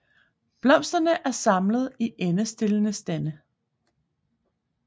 Blomsterne er samlet i endestillede stande